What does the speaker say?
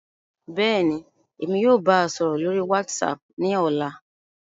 Bẹ́ẹ̀ni, Emi yóò baa sọrọ lori WhatsApp ni ọla.